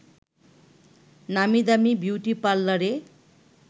নামি-দামি beauty পার্লারে